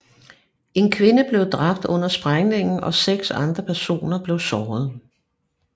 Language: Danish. En kvinde blev dræbt under sprængningen og seks andre personer blev såret